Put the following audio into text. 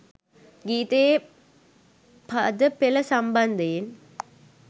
ගීතයේ පද පෙළ සම්බන්ධයෙන්